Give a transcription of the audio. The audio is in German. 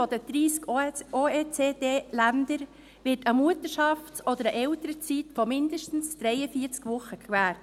In der Hälfte der 30 OECD-Länder wird eine Mutterschafts- oder eine Elternzeit von mindestens 43 Wochen gewährt.